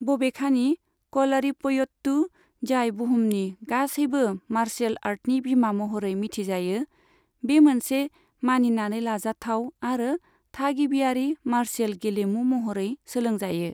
बबेखानि, कलारिपयट्टु, जाय बुहुमनि गासैबो मार्शियेल आर्टनि बिमा महरै मिथिजायो, बे मोनसे मानिनानै लाजाथाव आरो थागिबियारि मार्शियेल गेलेमु महरै सोलोंजायो।